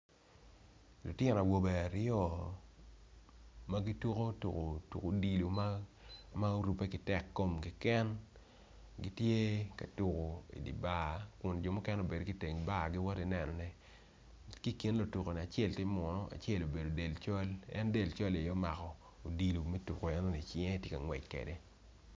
Litino awobe aryo ma gituko tuko odilo ma, ma orube kitek kom kiken gitye katuku i di bar kun jo mukene obedo iteng bar giwoti neno tuko, ki gin lutuku-ni acel ti muno, acel obedo en delcol-li aye omako odilo me tuku eno-ni cinge ti ka ngwec kwede.